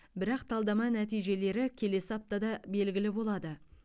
бірақ талдама нәтижелері келесі аптада белгілі болады